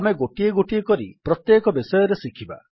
ଆମେ ଗୋଟିଏ ଗୋଟିଏ କରି ପ୍ରତ୍ୟେକ ବିଷୟରେ ଶିଖିବା